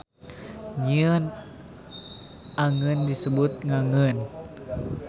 Nyieun angeun disebut ngangeun.